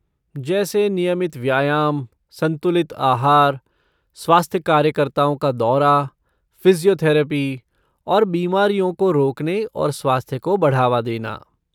जैसे नियमित व्यायाम, संतुलित आहार, स्वास्थ्य कार्यकर्ताओं का दौरा, फ़िज़ियोथेरेपी, और बीमारियों को रोकने और स्वास्थ्य को बढ़ावा देना।